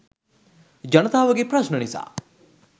ජනතාවගේ ප්‍රශ්න නිසා